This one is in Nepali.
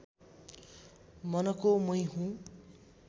मनको मै हुँ